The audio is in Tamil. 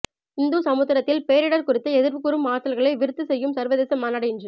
இந்து சமுத்திரத்தில் பேரிடர் குறித்து எதிர்வுகூறும் ஆற்றல்களை விருத்தி செய்யும் சர்வதேச மாநாடு இன்று